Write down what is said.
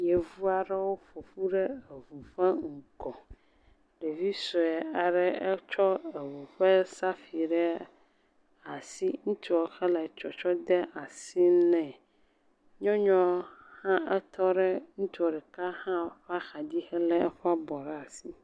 Yevu aɖewo ƒoƒu ɖe eŋu ƒe ŋgɔ. Ɖevi sue aɖe etsɔ eŋu ƒe safui ɖe asi ŋutsua hele tsɔtsɔ de asi nɛ. Nyɔnua hã etɔ ɖe ŋutsua ɖeka hã ƒe axadzi hele eƒe abɔ ɖe asi.